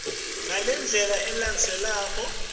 yekubhalisa ilandzela ngalendlela